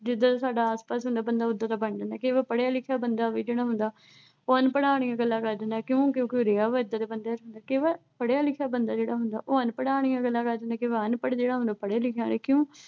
ਜਿੱਦਾਂ ਦਾ ਸਾਡਾ ਆਸਪਾਸ ਹੁੰਦਾ। ਉਦਾਂ ਦਾ ਬੰਦਾ ਬਣ ਜਾਂਦਾ। ਕਈ ਵਾਰ ਪੜ੍ਹਿਆ ਲਿਖਿਆ ਬੰਦਾ ਵੀ ਜਿਹੜਾ ਹੁੰਦਾ। ਉਹ ਅਨਪੜ੍ਹਾਂ ਆਲੀਆਂ ਗੱਲਾਂ ਕਰ ਦਿੰਦਾ। ਕਿਉਂ ਕਿਉਂ ਕਿ ਉਹ ਰਿਹਾ ਵਿਆ ਏਦਾਂ ਦੇ ਬੰਦਿਆਂ ਚ ਹੁੰਦਾ। ਕਈ ਵਾਰ ਪੜ੍ਹਿਆ ਲਿਖਿਆ ਜਿਹੜਾ ਹੁੰਦਾ ਉਹ ਅਨਪੜ੍ਹਾਂ ਆਲੀਆਂ ਗੱਲਾਂ ਕਰਦਾ ਤੇ ਅਨਪੜ੍ਹ ਪੜ੍ਹਿਆ ਲਿਖਿਆਂ ਆਲੀਆਂ ਕਿਉਂ